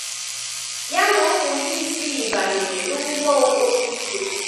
Ya na ụmụ ya isii banyere n’ụgbọ okporo ígwè